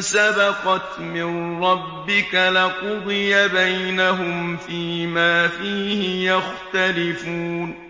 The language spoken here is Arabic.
سَبَقَتْ مِن رَّبِّكَ لَقُضِيَ بَيْنَهُمْ فِيمَا فِيهِ يَخْتَلِفُونَ